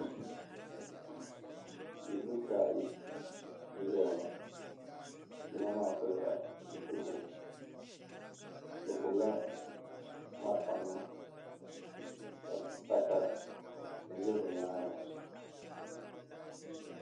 Bidibisi ayi n-ʒiya ŋɔ yino maa pilila zupiligu bɛ gbubila malifanima ka pata ʒe bɛ nyaaŋa.